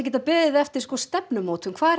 geta beðið eftir stefnumótun hvað